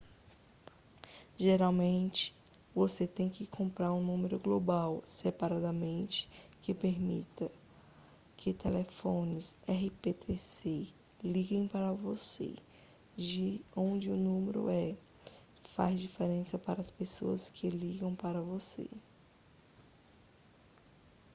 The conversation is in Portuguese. geralmente você tem que comprar um número global separadamente que permita que telefones rptc liguem para você de onde o número é faz diferença para as pessoas que ligam para você